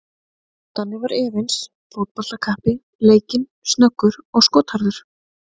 Danni var efnis fótboltakappi, leikinn, snöggur og skotharður.